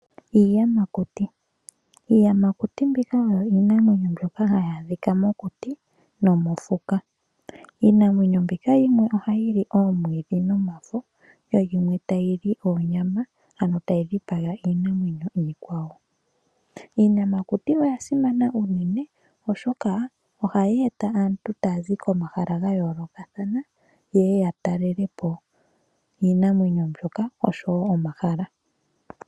Iiyamakuti, Iiyamakuti mbika oyo iinamwenyo mbyoka hayi adhika mokuti nomofuka. Iinamwenyo mbika yimwe ohayi li oomwiidhi nomafo yo yomwe tayi li onyama ano tayi dhipaga iinamwenyo iikwawo. Iiyamakuti oya simana unene oshoka ohayi eta aantu taya zi komahala gayoolokathana yeye yatalelepo iinamwenyo mbyoka osho woo omahala.